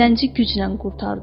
Zənci güclə qurtardı.